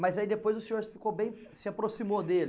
Mas aí depois o senhor ficou bem, se aproximou dele?